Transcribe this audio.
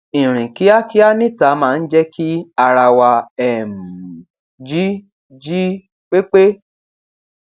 ìrìn kíákíá níta máa ń jẹ kí ara wa um jí jí pépé